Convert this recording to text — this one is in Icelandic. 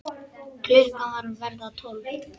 Klukkan var að verða tólf.